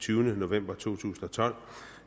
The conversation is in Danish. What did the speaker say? tyvende november to tusind og tolv